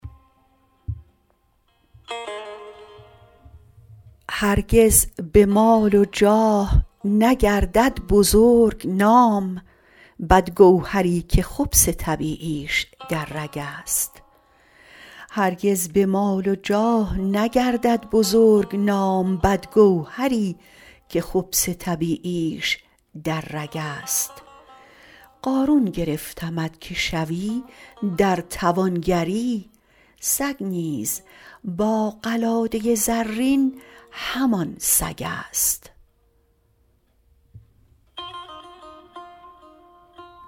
هرگز به مال و جاه نگردد بزرگ نام بدگوهری که خبث طبیعیش در رگست قارون گرفتمت که شوی در توانگری سگ نیز با قلاده زرین همان سگست